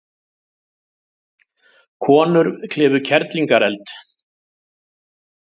Konur klifu Kerlingareld